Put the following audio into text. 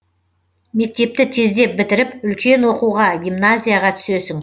мектепті тездеп бітіріп үлкен оқуға гимназияға түсесің